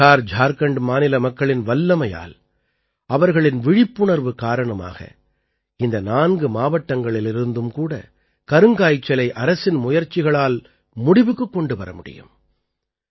பிஹார்ஜார்க்கண்ட் மாநில மக்களின் வல்லமையால் அவர்களின் விழிப்புணர்வு காரணமாக இந்த நான்கு மாவட்டங்களிலிருந்தும் கூட கருங்காய்ச்சலை அரசின் முயற்சிகளால் முடிவுக்குக் கொண்டு வர முடியும்